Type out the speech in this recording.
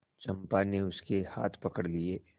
चंपा ने उसके हाथ पकड़ लिए